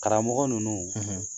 Karamɔgɔ ninnu